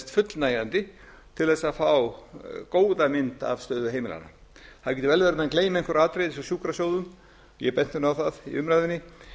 fullnægjandi til þess að fá góða mynd af stöðu heimilanna það getur vel verið að menn gleymi einhverju atriði eins og sjúkrasjóðum ég benti á það í umræðunni